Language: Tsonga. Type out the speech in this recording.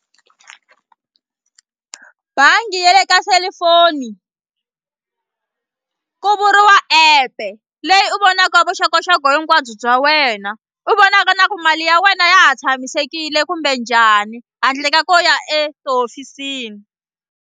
Bangi ya le ka selufoni ku vuriwa app-e leyi u vonaka vuxokoxoko hinkwabyo bya wena u vonaka na ku mali ya wena ya ha tshamisekile kumbe njhani handle ka ku ya etihofisini.